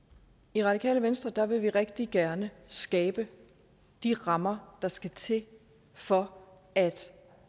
i radikale venstre vil vi rigtig gerne skabe de rammer der skal til for at